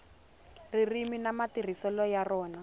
ririmi na matirhiselo ya rona